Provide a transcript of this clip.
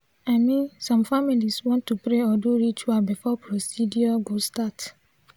i min some familiz wan to pray or do ritual before procedure go start.